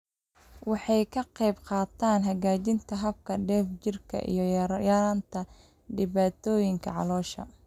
Waxay ka qaybqaadataa hagaajinta habka dheef-shiidka iyo yaraynta dhibaatooyinka caloosha.